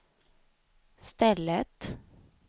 stället